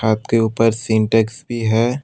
छत के ऊपर सिंटेक्स भी है।